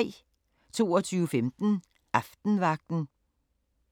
22:15: Aftenvagten